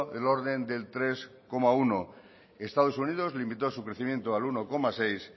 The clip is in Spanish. del orden del tres coma uno estados unidos limitó su crecimiento al uno coma seis